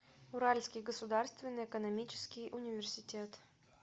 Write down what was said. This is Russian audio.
уральский государственный экономический университет